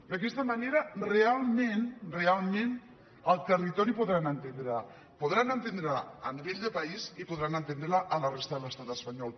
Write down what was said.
d’aquesta manera realment realment en el territori podran entendre la podran entendre la a nivell de país i podran entendre la a la resta de l’estat espanyol